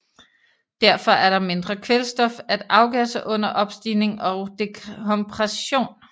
Derfor er der mindre kvælstof at afgasse under opstigning og dekompression